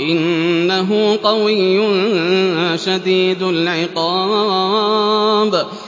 إِنَّهُ قَوِيٌّ شَدِيدُ الْعِقَابِ